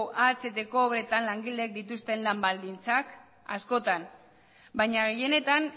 ahteko obretan langileek dituzten lan baldintzak askotan baina gehienetan